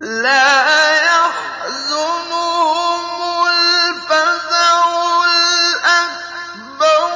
لَا يَحْزُنُهُمُ الْفَزَعُ الْأَكْبَرُ